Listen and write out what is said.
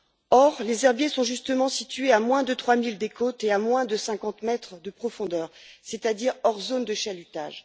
Or, les herbiers sont justement situés à moins de trois milles des côtes et à moins de cinquante mètres de profondeur, c'est à dire hors zone de chalutage.